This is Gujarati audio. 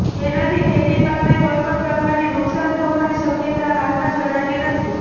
જેનાથી ખેતી પાકને કોઇપણ પ્રકારની નુકશાન થવાની શક્યતા હાલમાં જણાતી નથી